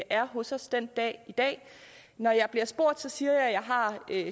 er hos os den dag i dag når jeg bliver spurgt siger jeg har